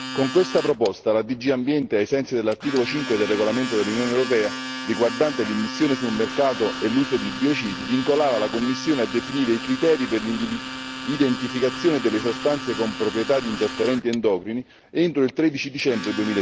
Con questa proposta la DG Ambiente, ai sensi dell'articolo 5 del regolamento dell'Unione europea riguardante l'immissione sul mercato e l'uso di biocidi, vincolava la Commissione a definire i criteri per l'identificazione delle sostanze con proprietà di interferenti endocrini entro il 13 dicembre